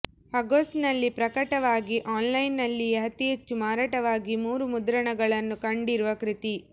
ಆಗಸ್ಟ್ನಲ್ಲಿ ಪ್ರಕಟವಾಗಿ ಆನ್ಲೈನ್ನಲ್ಲಿಯೇ ಅತಿ ಹೆಚ್ಚು ಮಾರಾಟವಾಗಿ ಮೂರು ಮುದ್ರಣಗಳನ್ನು ಕಂಡಿರುವ ಕೃತಿ